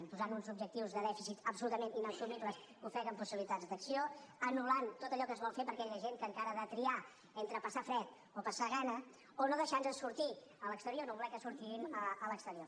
i posant uns objectius de dèficit absolutament inassumibles que ofeguen possibilitats d’acció anul·lant tot allò que es vol fer per aquella gent que encara ha de triar entre passar fred o passar gana o no deixantnos sortir a l’exterior no volent que sortim a l’exterior